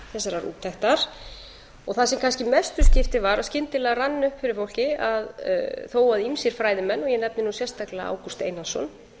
þessarar úttektar það sem kannski mestu skiptir var að skyndilega rann upp fyrir fólki að þó að ýmsir fræðimenn og ég nefndi nú sérstaklega ágúst einarsson